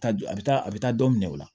A bɛ taa a bɛ taa dɔ minɛ o la